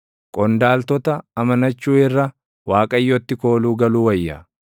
Qondaaltota amanachuu irra, Waaqayyotti kooluu galuu wayya.